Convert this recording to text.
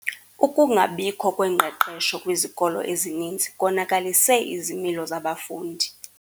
Ukungabikho kwengqeqesho kwizikolo ezininzi konakalise izimilo zabafundi.